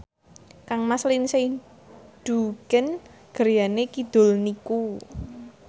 kangmas Lindsay Ducan griyane kidul niku